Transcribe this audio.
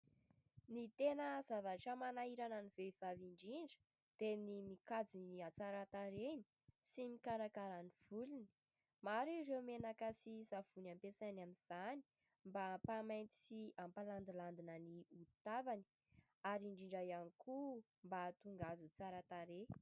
Ny tena zavatra manahirana ny vehivavy indrindra dia ny mikajy ny hatsaran-tarehany sy mikarakara ny volony, maro ireo menaka sy savony ampiasainy amin'izany mba hampamainty sy hampalandilandina ny hody tavany ary indrindra ihany koa mba hahatonga azy ho tsara tarehy.